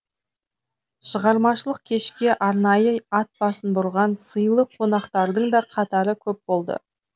шығармашылық кешке арнайы ат басын бұрған сыйлы қонақтардың да қатары көп болды